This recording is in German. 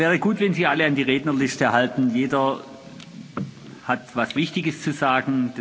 Es wäre gut, wenn sich alle an die Rednerliste halten. Jeder hat etwas Wichtiges zu sagen